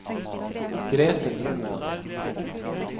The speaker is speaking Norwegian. Grete Nymoen